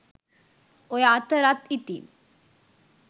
ඔය අතරත් ඉතින්